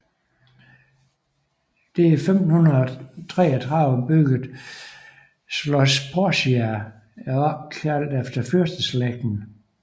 Det i 1533 byggede Schloss Porcia er opkaldt efter fyrsteslægten